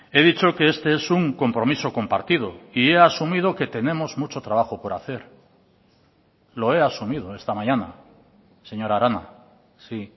he dicho que este es un compromiso compartido y he asumido que tenemos mucho trabajo por hacer lo he asumido esta mañana señora arana sí